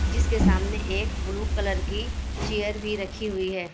जिसके सामने एक ब्लू कलर की चेयर भी रखी हुई है।